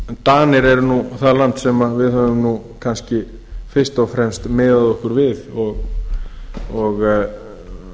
danir eru nú það land sem við höfum nú kannski fyrst og fremst miðað okkur við og